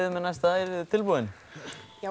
með næsta eruð þið tilbúin já